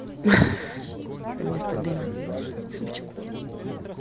вместа дыма супчику